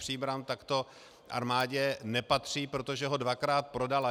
Příbram, tak to armádě nepatří, protože ho dvakrát prodala.